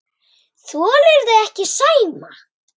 Þolirðu ekki Sæma?